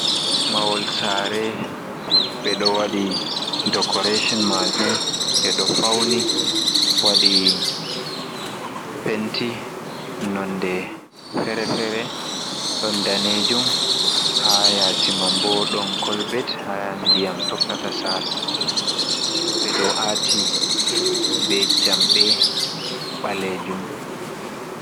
Mahol sare. Ɓe ɗo waɗi dokoreshon maajum ɓe ɗo fauni waɗi penti nonde fere-fere ɗon danejum. Haa yasimam bo ɗon kolbet, haa ndiyam tokkata saala. Ɓe ɗo aati be jamɗe ɓalejum.